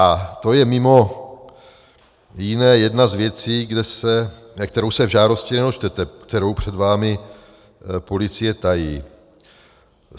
A to je mimo jiné jedna z věcí, kterou se v žádosti nedočtete, kterou před vámi policie tají.